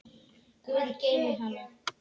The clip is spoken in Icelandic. Guð geymi hana.